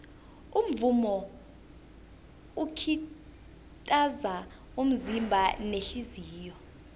umvumo ukitaza umzimba nehliziyo